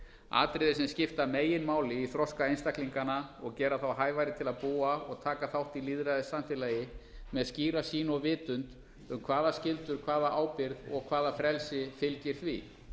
atriði sem skipta meginmáli í þroska einstaklinganna og gera þá hæfari til að búa og taka þátt í lýðræðissamfélagi með skýra sýn og vitund um hvaða skyldur hvaða ábyrgð og hvaða frelsi fylgir því